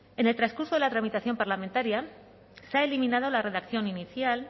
en el transcurso de la tramitación parlamentaria se ha eliminado la redacción inicial